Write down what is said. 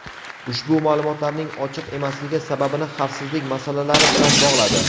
ushbu ma’lumotlarning ochiq emasligi sababini xavfsizlik masalalari bilan bog‘ladi.